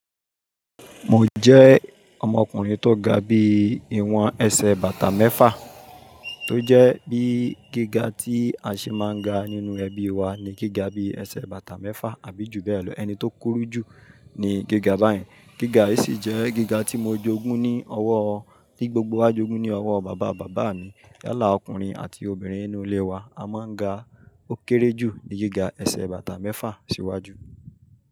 Mo jẹ́ ọmọkùnrin tó ga bí i ìwọ̀n ẹsẹ̀ bàtà mẹ́fà, tó jẹ́ bí gíga tí a ṣe máa ń ga nínú ẹbí wa ni gíga bíi ẹsẹ̀ bàtà mẹ́fà àbí ju bẹ́ẹ̀ lọ. Ẹni tó kúrú jù ni gíga báyen. Gíga yìí sì jẹ́ gíga tí mo jogún ní ọwọ́ ọ, tí gbogbo wa jogún ní ọwọ́ bàbá bàbá mi. Yálà ọkùnrin àti obìnrin nínú ilé wa a máa ń ga. Ó kéré jù ni gíga ẹsẹ̀ bàtà mẹ́fà síwájú.